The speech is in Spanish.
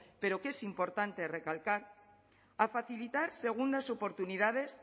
pero que es importante recalcar a facilitar segundas oportunidades